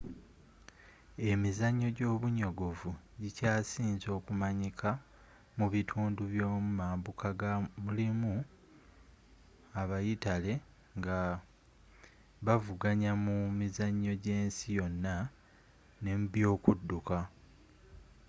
emizannyo gyobunyogovu gikyasinze okumanyika mu bitundu by'omu mambuka nga mulimu abayitale nga bavuganya mu mizannyo gy'ensi yonna ne mu byokudduka